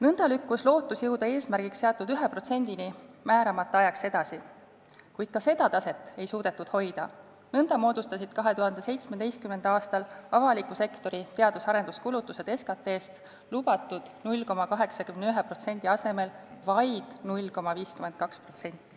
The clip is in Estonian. Nõnda lükkus lootus jõuda eesmärgiks seatud 1%-ni määramata ajaks edasi, kuid ka seda taset ei suudetud hoida, nõnda moodustasid 2017. aastal avaliku sektori teadus- ja arenduskulutused SKT-st lubatud 0,81% asemel vaid 0,52%.